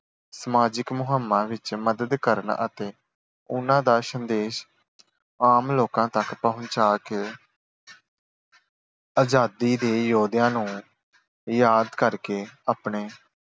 ਸਮਾਜਿਕ ਮੁਹਿੰਮਾਂ ਵਿੱਚ ਮਦਦ ਕਰਨ ਅਤੇ ਉਨ੍ਹਾਂ ਦਾ ਸੰਦੇਸ਼ ਆਮ ਲੋਕਾਂ ਤੱਕ ਪਹੁੰਚਾ ਕੇ ਆਜ਼ਾਦੀ ਦੇ ਯੋਧਿਆਂ ਨੂੰ ਯਾਦ ਕਰਕੇ ਆਪਣੇ